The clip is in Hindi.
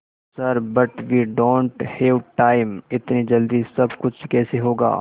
sir but we don't have time इतनी जल्दी सब कुछ कैसे होगा